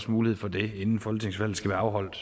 mulighed for det inden folketingsvalget skal være afholdt